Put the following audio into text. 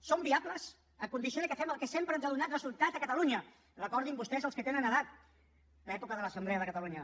són viables a condició que fem el que sempre ens ha donat resultat a catalunya recordin ho vostès els que tenen edat l’època de l’assemblea de catalunya